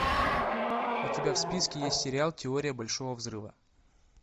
у тебя в списке есть сериал теория большого взрыва